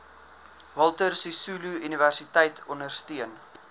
walter sisuluuniversiteit ondersteun